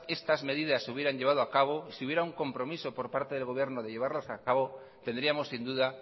estas medidas se hubieran llevado a cabo y si hubiera un compromiso por parte el gobierno de llevarlos a cabo tendríamos sin duda